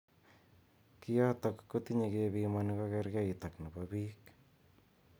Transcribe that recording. Kiotok kotinye kebimoni kokerkeit ak chebo bik.